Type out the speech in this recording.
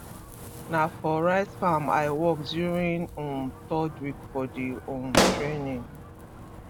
na for rice farm i work during um third week for the um training